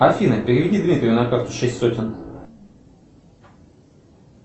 афина переведи дмитрию на карту шесть сотен